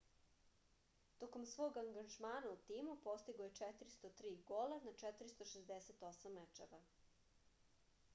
tokom svog angažmana u timu postigao je 403 gola na 468 mečeva